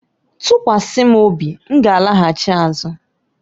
Tụkwasị m obi, m ga-alaghachi azụ.